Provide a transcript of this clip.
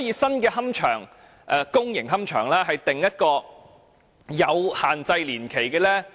新的公營龕場可否訂出擺放年限？